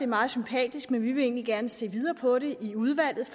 meget sympatisk men vi vil egentlig gerne se videre på det i udvalget